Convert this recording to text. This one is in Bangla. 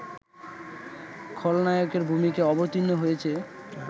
খলনায়কের ভূমিকায় অবতীর্ণ হয়েছে